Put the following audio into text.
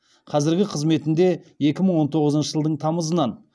қазіргі қызметінде екі мың он тоғызыншы жылдың тамызынан